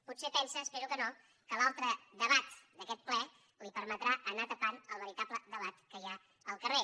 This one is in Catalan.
potser pensa espero que no que l’altre debat d’aquest ple li permetrà anar tapant el veritable debat que hi ha al carrer